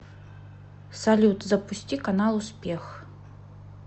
салют запусти канал успех